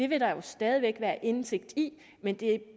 vil der stadig væk være indsigt i men det